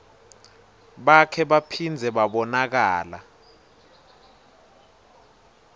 bakhe baphindze babonakala